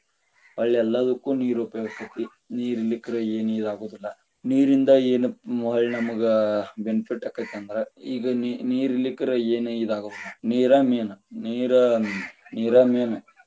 ಹೊಳ್ಳಿ ಎಲ್ಲದಕ್ಕು ನೀರ ಉಪಯೋಗ ಆಕ್ಕೆತಿ, ನೀರ ಇರಲಿಕ್ಕರೆನ ಇದ ಆಗುದಿಲ್ಲಾ, ನೀರಿಂದ ಯೇನ ಹೊಳ್ಳಿ ನಮಗ benefit ಆಕ್ಕೆತಿ ಅಂದ್ರ ಈಗ ನೀರ ಇರಲಿಕ್ಕರೆನ ಏನ್ ಇದ್ ಆಗುದಿಲ್ಲಾ ನೀರ main ನೀರ ನೀರ main .